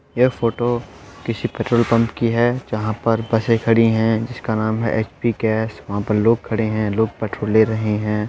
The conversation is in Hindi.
यह फोटो किसी पेट्रोल पम्प की है जहाँ पर बसे खड़ी है जिसका नाम है अच_पी गैस वहां पर लोग खड़े है लोग पेट्रोल ले रहे हैं ।